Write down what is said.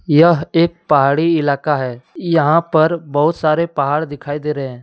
यह एक पहाड़ी इलाका है यहां पर बहुत सारे पहाड़ दिखाई दे रहे है।